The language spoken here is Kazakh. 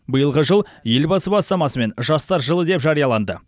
биылғы жыл елбасы бастамасымен жастар жылы деп жарияланды